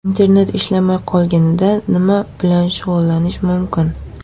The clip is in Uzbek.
Internet ishlamay qolganida nima bilan shug‘ullanish mumkin?.